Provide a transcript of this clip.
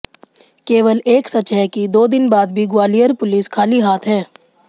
केवल एक सच है कि दो दिन बाद भी ग्वालियर पुलिस खाली हाथ है